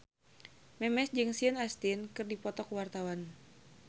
Memes jeung Sean Astin keur dipoto ku wartawan